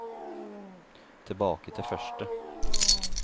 tilbake til første